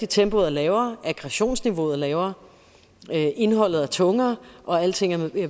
tempoet er lavere aggressionsniveauet er lavere indholdet er tungere og alting er